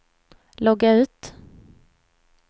logga ut